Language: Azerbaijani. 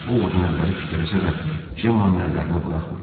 O Vodun əlləri titrəsə də, Cemanın əllərini buraxmırdı.